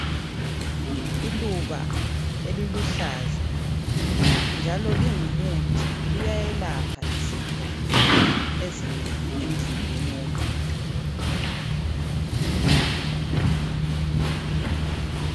Iluba eliluhlaza njalo lingumuthi liyelapha izifo ezinengi emzimbeni womuntu.